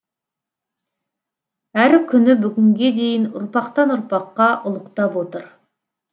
әрі күні бүгінге дейін ұрпақтан ұрпаққа ұлықтап отыр